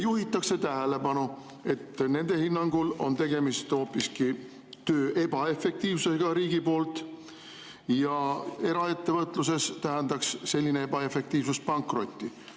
Juhitakse tähelepanu, et nende hinnangul on tegemist hoopiski sellega, et riigi töö on olnud ebaefektiivne, aga eraettevõtluses tähendaks selline ebaefektiivsust pankrotti.